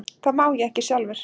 Það má ég ekki sjálfur.